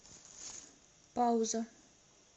пауза